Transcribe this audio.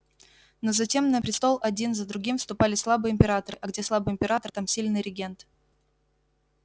но затем на престол один за другим вступали слабые императоры а где слабый император там сильный регент